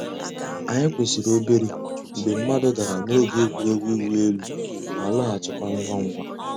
Ànyị̀ kwụsìrì òbèrè mgbè mmàdụ̀ dàrā n'ògè ègwè́régwụ̀ ị̀wụ̀ èlù, má lọ̀ghachikwa ngwá ngwá.